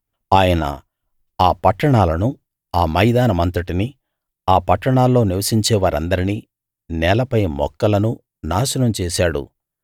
ఆయన ఆ పట్టణాలనూ ఆ మైదానమంతటినీ ఆ పట్టణాల్లో నివసించేవారందరినీ నేలపై మొక్కలనూ నాశనం చేశాడు